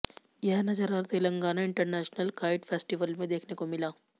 यह नजारा Telangana international kite festival में देखने को मिला